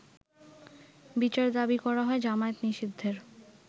বিচার দাবি করা হয় জামায়াত নিষিদ্ধের।